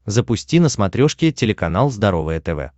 запусти на смотрешке телеканал здоровое тв